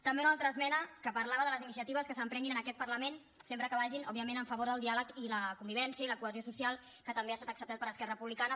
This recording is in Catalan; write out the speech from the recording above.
també una altra esmena que parlava de les iniciatives que s’emprenguin en aquest parlament sempre que vagin òbviament en favor del diàleg i la convivència i la cohesió social que també ha estat acceptada per esquerra republicana